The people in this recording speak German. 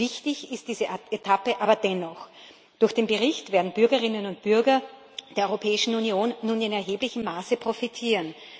Wichtig ist diese Etappe aber dennoch. Durch den Bericht werden die Bürgerinnen und Bürger der Europäischen Union nun in erheblichem Maße profitieren.